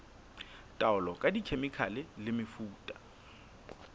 taolo ka dikhemikhale le mefuta